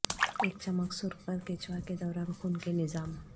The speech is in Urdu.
ایک چمک سرخ پر کیںچوا کے دوران خون کے نظام